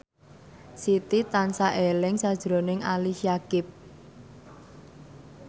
Siti tansah eling sakjroning Ali Syakieb